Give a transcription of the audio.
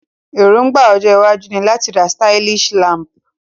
Èróngbà ojó iwájú ni láti ra stylish lamp